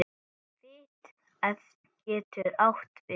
Fit getur átt við